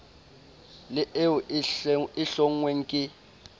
le eo e hlonngweng ke